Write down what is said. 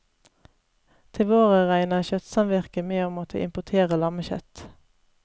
Til våren regner kjøttsamvirket med å måtte importere lammekjøtt.